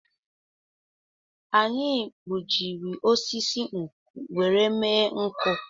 Anyị gbujiri osisi nkwụ were mme nkụ